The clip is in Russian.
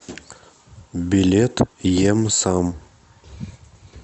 билет ем сам